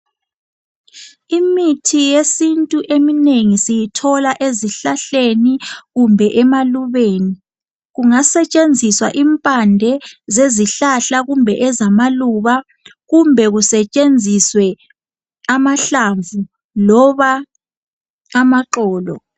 Imithi yesintu eminengi siyithola ezihlahleni kumbe emalubeni. Kungasetshenziswa impande zezihlahla kumbe ezamaluba kumbe kusetshenziswe amahlamvu loba amaxolo.